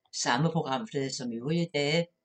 Samme programflade som øvrige dage